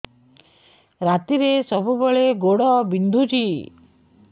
ରାତିରେ ସବୁବେଳେ ଗୋଡ ବିନ୍ଧୁଛି